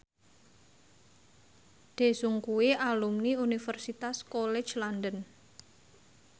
Daesung kuwi alumni Universitas College London